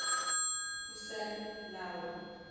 usamlawa